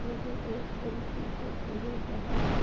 यह एक पुल की फोटो है जहां पर --